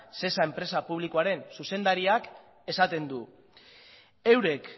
shesa enpresa publikoaren zuzendariak esaten du eurek